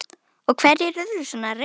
Og hverjir urðu svona reiðir?